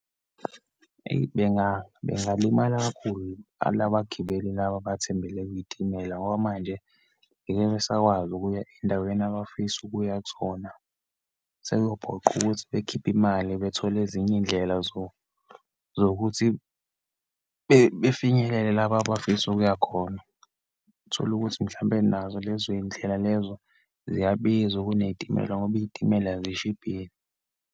Eyi, bengalimala kakhulu, labagibeli laba abathembele kwiyitimela ngoba manje ngeke besakwazi ukuya eyindaweni abafisa ukuya kuzona. Sekuyophoqa ukuthi bekhiphe imali bethole ezinye iyindlela zokuthi befinyelele laba abafisa ukuya khona. Utholukuthi, mhlampe nazo lezo yindlela lezo ziyabiza kunezitimela, ngoba iyitimela zishibhile.